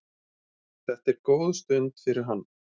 Þetta er góð stund fyrir hann.